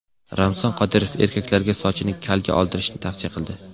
Ramzan Qodirov erkaklarga sochini kalga oldirishni tavsiya qildi.